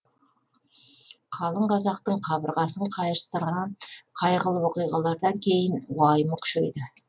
қалың қазақтың қабырғасын қайыстырған қайғылы оқиғалардан кейін уайымы күшейді